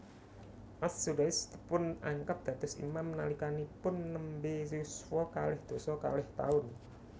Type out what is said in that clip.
As Sudais dipunangkat dados imam nalikanipun nembé yuswa kalih doso kalih taun